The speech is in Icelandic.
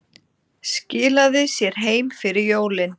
Skilaði sér heim fyrir jólin